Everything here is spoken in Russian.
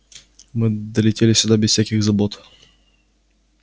мы долетели сюда без всяких забот